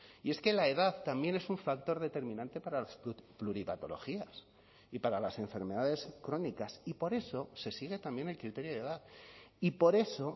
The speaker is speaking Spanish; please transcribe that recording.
y es que la edad también es un factor determinante para las pluripatologías y para las enfermedades crónicas y por eso se sigue también el criterio de edad y por eso